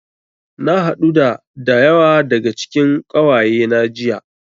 Na haɗu da da yawa daga cikin ƙawayena jiya.